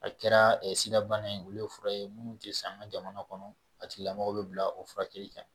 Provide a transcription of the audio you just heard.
A kɛra sida bana ye olu ye fura ye munnu te se an a jamana kɔnɔ a tigilamɔgɔw be bila o furakɛli kan.